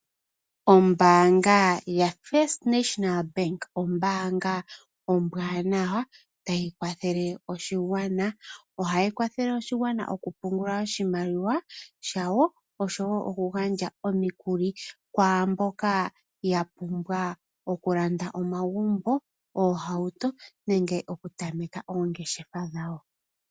Ombaanga ya first National Bank, ombaanga ombwaanawa tayi kwathele oshigwana. Ohayi kwathele oshigwana okupungula oshimaliwa dhawo oshowo okugandja omikuli kwaamboka yapumbwa ookulanda omagumbo oohauto nenge okutameka kongeshefa dhawo.